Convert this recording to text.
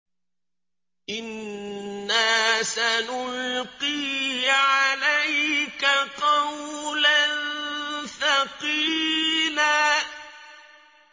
إِنَّا سَنُلْقِي عَلَيْكَ قَوْلًا ثَقِيلًا